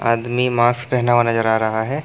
आदमी मास्क पहना हुआ नजर आ रहा है।